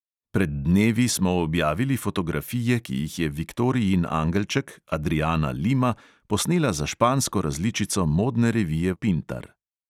Pred dnevi smo objavili fotografije, ki jih je viktorijin angelček, adriana lima, posnela za špansko različico modne revije pintar.